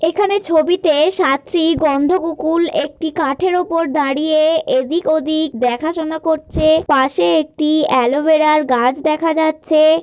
এখানে ছবিতে সাতটি গন্ধ কুকুল একটি কাঠের উপর দাঁড়িয়ে এদিক ওদিক দেখা শোনা করছে । পাশে একটি অ্যালোভেরা র গাছ দেখা যাচ্ছে।